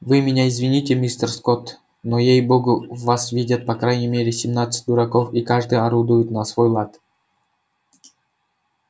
вы меня извините мистер скотт но ей богу в вас сидят по крайней мере семнадцать дураков и каждый орудует на свой лад